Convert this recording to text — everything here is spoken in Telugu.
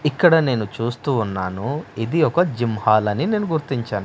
ఇక్కడ నేను చూస్తూ ఉన్నాను ఇది ఒక జిమ్ హాల్ అని నేను గుర్తించాను.